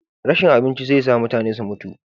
rashin abinci zai sa mutane su mutu